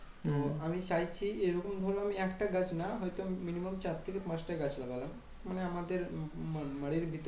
আমি চাইছি যে, এরকম ধরো একটা গাছ না হয়তো minimum চার থেকে পাঁচটা লাগলাম। মানে আমাদের উম বাড়ির ভিতর